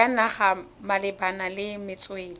ya naga malebana le metswedi